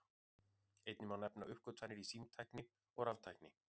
Einnig má nefna uppgötvanir í símtækni og raftækni.